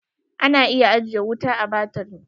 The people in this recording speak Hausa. Ana iya ajiye wuta a baturi.